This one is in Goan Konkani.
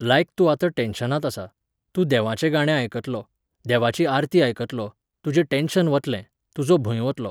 लायक तूं आतां टॅन्शनांत आसा, तूं देवाचें गाणें आयकतलो, देवाची आरती आयकतलो, तुजें टॅन्शन वतलें, तुजो भंय वतलो.